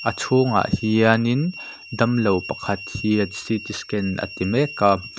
tah hianin damlo pakhat hian ct scan a ti mek a.